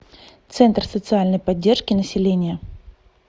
центр социальной поддержки населения